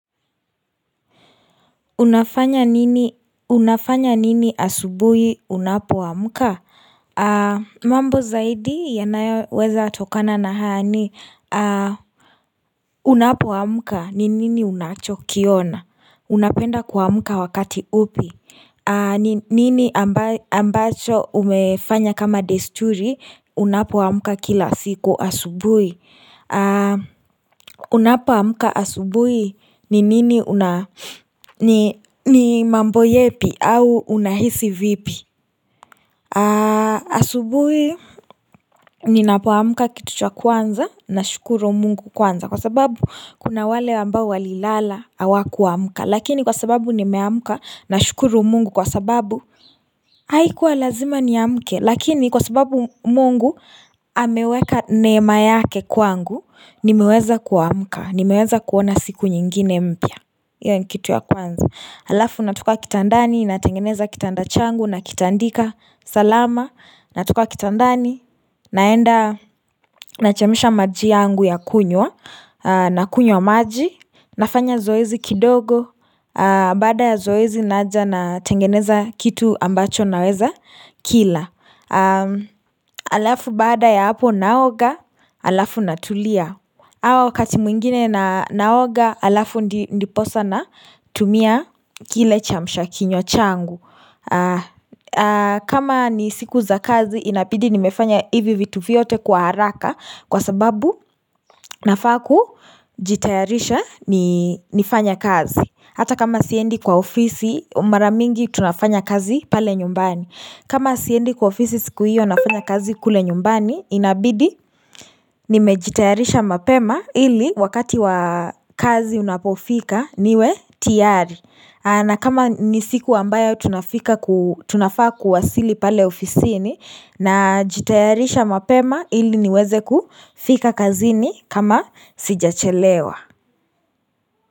Unafanya nini asubui unapo amka? Mambo zaidi yanayoweza tokana na haya ni Unapo amka ni nini unacho kiona? Unapenda kuamka wakati upi? Nini ambacho umefanya kama desturi unapo amka kila siku asubuhi? Unapo amka asubuhi ni nini una? Ni mambo yepi au unahisi vipi? Asubuhi ninapo amka kitu cha kwanza nashukuru mungu kwanza kwa sababu kuna wale ambao walilala hawa kuamka lakini kwa sababu nimeamka na shukuru mungu kwa sababu Haikuwa lazima niamke lakini kwa sababu mungu Ameweka neema yake kwangu nimeweza kuamuka nimeweza kuona siku nyingine mpya hio ni kitu ya kwanza, alafu natoka kitandani natengeneza kitanda changu na kitandika salama natoka kitandani naenda Nachemsha maji yangu ya kunywa na kunywa maji nafanya zoezi kidogo Baada ya zoezi naja natengeneza kitu ambacho naweza kila Alafu baada ya hapo naoga Alafu natulia au wakati mwengine naoga alafu ndiposa natumia kile chamsha kinywa changu kama ni siku za kazi inabidi nimefanya hivi vitu vyote kwa haraka kwa sababu nafaa ku jitayarisha nifanye kazi hata kama siendi kwa ofisi mara mingi tunafanya kazi pale nyumbani kama siendi kwa ofisi siku hio nafanya kazi kule nyumbani inabidi nimejitayarisha mapema ili wakati wa kazi unapofika niwe tayari na kama ni siku ambayo tunafaa kuwasili pale ofisini najitayarisha mapema ili niweze kufika kazini kama sijachelewa.